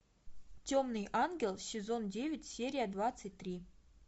темный ангел сезон девять серия двадцать три